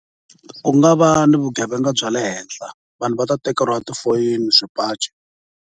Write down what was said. Ku nga va ni vugevenga bya le henhla vanhu va ta tekeriwa tifoyini, swipaci.